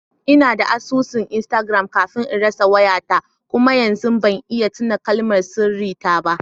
Ina da asusun Instagram kafin in rasa wayata kuma yanzu ba zan iya tuna kalmar sirri ta ba.